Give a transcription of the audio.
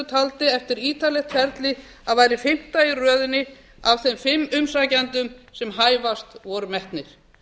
taldi eftir ítarlegt ferli að væri fimmta í röðinni af þeim fimm umsækjendum sem hæfastir voru metnir